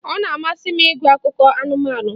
Ọ na-amasị m ịgụ akụkọ anụmanụ